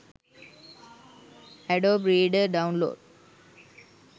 adobe reader download